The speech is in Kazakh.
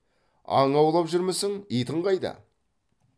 аң аулап жүрмісің итің қайда